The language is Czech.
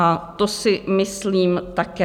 A to si myslím také.